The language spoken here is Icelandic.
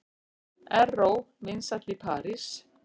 Erró vinsæll í París